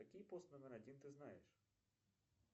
какие пост номер один ты знаешь